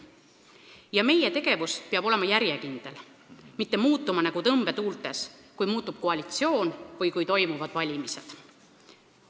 Ja meie tegevus peab olema järjekindel, mitte olema nagu tõmbetuultes, kui koalitsioon muutub või toimuvad valimised.